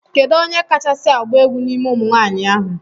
Kedụ onye kasi agba egwu n'ime ụmụnwanyi ahu?